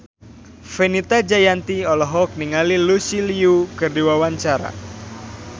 Fenita Jayanti olohok ningali Lucy Liu keur diwawancara